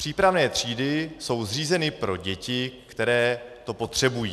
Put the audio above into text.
Přípravné třídy jsou zřízeny pro děti, které to potřebují.